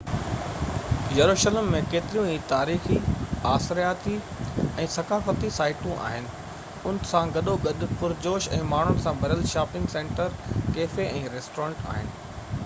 يروشلم ۾ ڪيتريون ئي تاريخي آثارياتي ۽ ثقافتي سائيٽون آهن ان سان گڏوگڏ پرجوش ۽ ماڻهن سان ڀريل شاپنگ سينٽر ڪيفي ۽ ريسٽورينٽ آهن